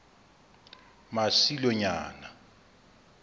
masilonyana